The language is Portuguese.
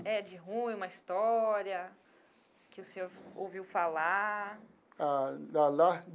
É, de ruim, uma história que o senhor ouviu falar. Ah lá.